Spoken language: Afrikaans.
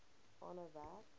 aanhou werk